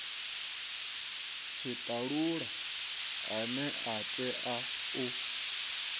tshitalula ane a tea u